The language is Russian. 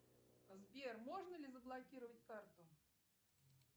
сбер можно ли заблокировать карту